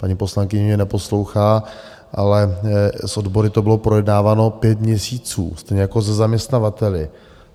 Paní poslankyně mě neposlouchá, ale s odbory to bylo projednáváno pět měsíců, stejně jako se zaměstnavateli.